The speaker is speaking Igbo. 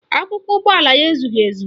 Akwụkwọ ụgbọala ya ezughị ezu